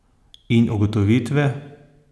In ugotovitve?